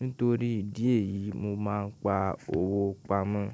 nítorí ìdí èyí mo máa ń pa owó pamọ́.